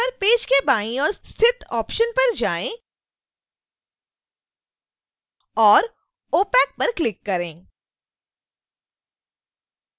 अब उसी पेज पर पेज के बाईं ओर स्थित ऑप्शन्स पर जाएं और opac पर क्लिक करें